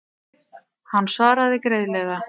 Hann svaraði greiðlega.